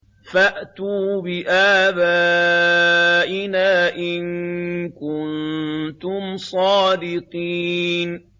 فَأْتُوا بِآبَائِنَا إِن كُنتُمْ صَادِقِينَ